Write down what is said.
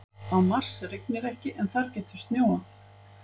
Á Mars rignir ekki en þar getur snjóað.